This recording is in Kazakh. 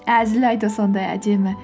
әзіл айту сондай әдемі